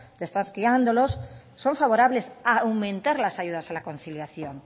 de estar criándolos son favorables a aumentar las ayudas a la conciliación